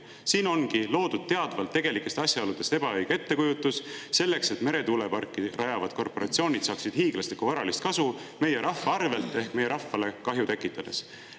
Siin ongi teadvalt loodud tegelikest asjaoludest ebaõige ettekujutus, et meretuuleparke rajavad korporatsioonid saaksid hiiglaslikku varalist kasu meie rahva arvel ehk meie rahvale kahju tekitades.